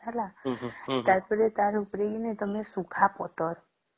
ହେଲା ତାର ପରେ ତାର ଉପରେ କି ତମେ ଶୁଖା ପତର